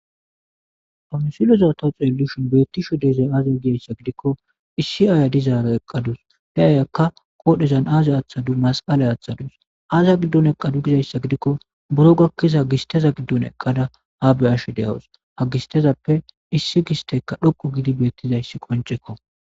awunsiloza ta xeelishin beettisho diizay aaze giyayssa gidikko issi aaya dizaara eqqadus he ayakka koodhezan aazey aaththadu masqalay aththadus aaza giddun eqadu gizayssa gidikko buro gakkiza gisteza giddun eqqada haa be ashe de7awus hagistezappe issi gistekka dhoqu gidi beettizayssi qoncekko